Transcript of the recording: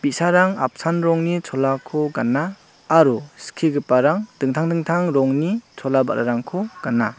bi·sarang apsan rongni chola gana aro skigiparang dingtang dingtang rongni chola ba·rarangko gana.